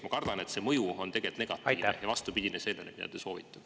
Ma kardan, et selle mõju on tegelikult negatiivne ja vastupidine sellele, mida te soovite.